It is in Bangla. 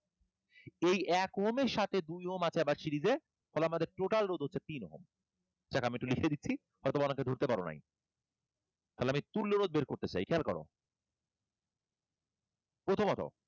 এই এক ওহম এর সাথে দুই ওহম আছে আবার series এ ফলে আমাদের total রোধ হচ্ছে তিন ওহম যাক আমি একটু লিখে দিচ্ছি হয়তো অনেকে ধরতে পারো নাই তাহলে আমি তুল্যরোধ বের করতে চাই। খেয়াল করো প্রথমত